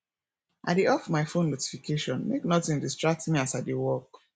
i dey off my phone notification make notin distract me as i dey work